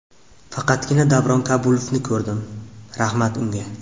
Faqatgina Davron Kabulovni ko‘rdim, rahmat unga.